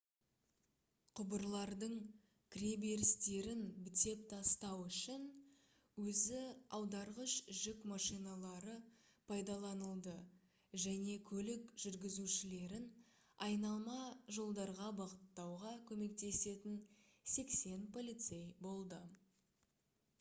құбырлардың кіреберістерін бітеп тастау үшін өзі аударғыш жүк машиналары пайдаланылды және көлік жүргізушілерін айналма жолдарға бағыттауға көмектесетін 80 полицей болды